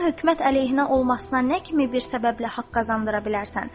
Onun hökumət əleyhinə olmasına nə kimi bir səbəblə haqq qazandıra bilərsən?